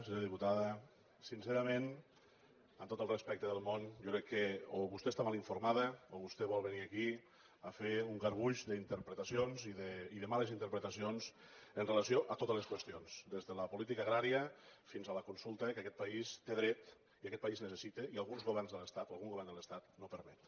senyora diputada sincerament amb tot el respecte del món jo crec que o vostè està mal informada o vostè vol venir aquí a fer un garbuix d’interpretacions i de males interpretacions en relació amb totes les qüestions des de la política agrària fins a la consulta a què aquest país té dret i aquest país necessita i alguns governs de l’estat o algun govern de l’estat no permeten